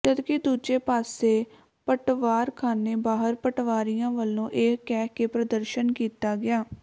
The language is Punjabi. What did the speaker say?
ਜਦਕਿ ਦੂਜੇ ਪਾਸੇ ਪਟਵਾਰਖਾਨੇ ਬਾਹਰ ਪਟਵਾਰੀਆਂ ਵੱਲੋਂ ਇਹ ਕਹਿ ਕੇ ਪ੍ਰਦਰਸ਼ਨ ਕੀਤਾ ਗਿਆ